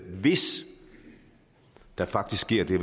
hvis der faktisk sker det